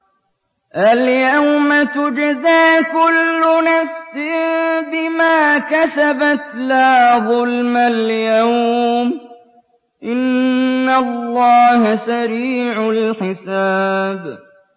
الْيَوْمَ تُجْزَىٰ كُلُّ نَفْسٍ بِمَا كَسَبَتْ ۚ لَا ظُلْمَ الْيَوْمَ ۚ إِنَّ اللَّهَ سَرِيعُ الْحِسَابِ